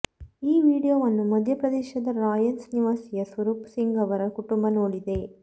ಈ ವಿಡಿಯೋವನ್ನು ಮಧ್ಯಪ್ರದೇಶದ ರಾಯ್ಸೇನ್ ನಿವಾಸಿಯ ಸ್ವರೂಪ್ ಸಿಂಗ್ ಅವರ ಕುಟುಂಬ ನೋಡಿದೆ